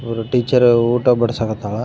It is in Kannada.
ಅವರ ಟೀಚರ್ ಊಟ ಬಡಿಸಾಕ್ ಹತ್ತಾಳ .